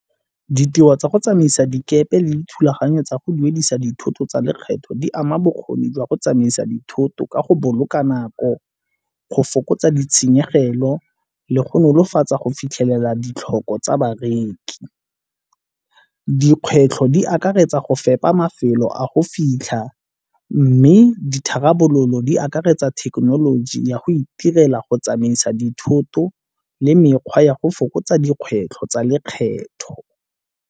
Ditiro tsa go tsamaisa dikepe le dithulaganyo tsa go duedisa dithoto tsa lekgetho di ama bokgoni jwa go tsamaisa dithoto ka go boloka nako, go fokotsa ditshenyegelo le go nolofatsa go fitlhelela ditlhoko tsa bareki. Dikgwetlho di akaretsa go fepa mafelo a go fitlha mme ditharabololo di akaretsa thekenoloji ya go itirela go tsamaisa dithoto le mekgwa ya go fokotsa dikgwetlho tsa lekgetho.